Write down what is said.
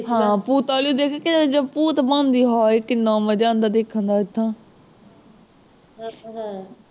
ਹਾਂ ਭੂਤ ਵਾਲੀ ਦੇਖ ਕੇ ਜਦ ਭੂਤ ਬਣਦੀ ਹਾਏ ਕਿੰਨਾ ਮਜ਼ਾ ਆਉਂਦਾ ਦੇਖਣ ਦਾ ਏਦਾਂ